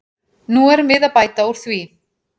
Nú erum við að bæta úr því.